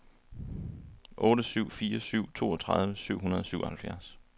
otte syv fire syv toogtredive syv hundrede og syvoghalvfjerds